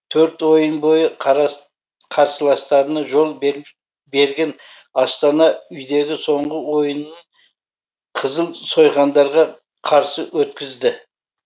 төрт ойын бойы қарсыластарына жол берген астана үйдегі соңғы ойынын қызыл сойқандарға қарсы өткізді